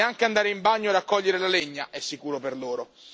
Neanche andare in bagno o raccogliere la legna è sicuro per loro.